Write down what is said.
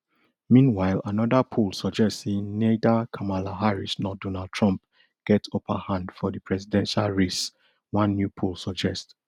meanwhile anoda poll suggest say neither kamala harris nor donald trump get upper hand for di presidential race one new poll suggest